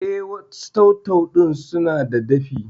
Eh, wasu tau-tau ɗin sunada dafi